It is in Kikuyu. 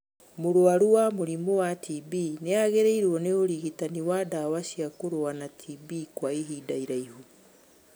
Mũrwaru wa mũrimu wa TB nĩagĩrĩirwo nĩ ũrigitani wa ndawa cia kũrũa na TB kwa ihinda iraihu